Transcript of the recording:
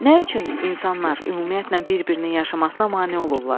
Nə üçün insanlar ümumiyyətlə bir-birinin yaşamasına mane olurlar?